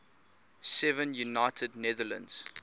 seven united netherlands